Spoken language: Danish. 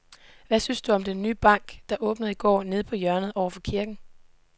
Hvad synes du om den nye bank, der åbnede i går dernede på hjørnet over for kirken?